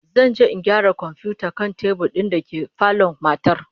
Zan je in gyara komfiyutar kan tebur din dake falon matar